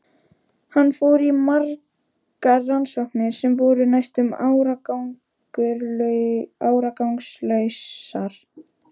Hann fór í margar rannsóknir sem voru næstum árangurslausar.